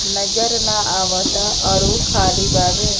नजर ना आवता आर ऊ खली बावे।